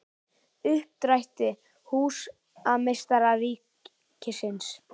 Uppdrætti: Húsameistari ríkisins.